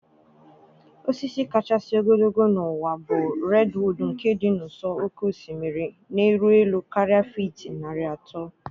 Osisi kachasị ogologo n'ụwa bụ redwood nke dị n'ụsọ oké osimiri, na-eru elu karịa fiiti narị atọ.